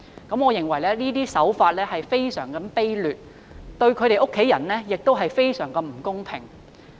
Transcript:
我認為這種手法非常卑劣，對警員的家人非常不公平。